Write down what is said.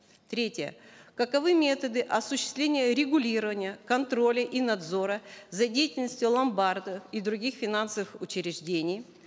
третье каковы методы осуществления регулирования контроля и надзора за деятельностью ломбардов и других финансовых учреждений